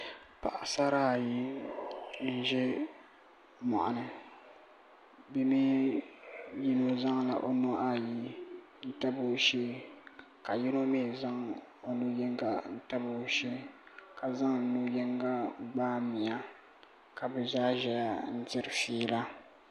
paɣisara ayi n-ʒe mɔɣini yino zaŋla o nuhi ayi n-tabi o shee ka yino mi zaŋ o nu' yiŋga n-tabi o shee ka zaŋ nu' yiŋga n-gbaai bia ka bɛ zaa ʒɛya n-tiri fiila